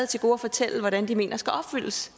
til gode at fortælle hvordan man mener skal opfyldes